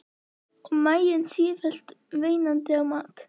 Og maginn sífellt veinandi á mat.